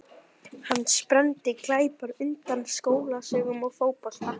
Hann spennti greipar utan um skólatöskuna og fótboltann.